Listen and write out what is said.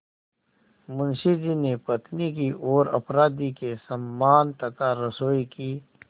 मुंशी जी ने पत्नी की ओर अपराधी के समान तथा रसोई की